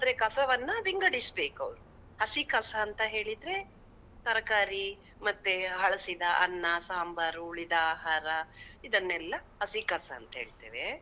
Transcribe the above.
ಆದ್ರೆ ಕಸವನ್ನ ವಿಂಗಡಿಸ್ಬೇಕು ಅವ್ರು, ಹಸಿ ಕಸ ಅಂತ್ ಹೇಳಿದ್ರೆ, ತರಕಾರಿ ಮತ್ತೆ ಹಳ್ಸಿದ ಅನ್ನ ಸಾಂಬಾರು, ಉಳಿದ ಆಹಾರ, ಇದನ್ನೆಲ್ಲಾ ಹಸಿ ಕಸ ಅಂತ್ ಹೇಳ್ತೇವೆ.